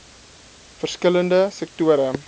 verskil lende sektore